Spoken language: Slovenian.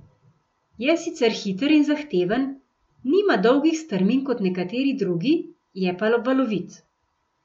Je sicer hiter in zahteven, nima dolgih strmin kot nekateri drugi, je pa valovit.